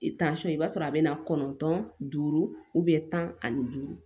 i b'a sɔrɔ a bɛ na kɔntɔn duuru tan ani duuru